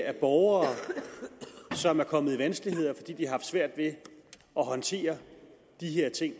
er borgere som er kommet i vanskeligheder fordi haft svært ved at håndtere de her ting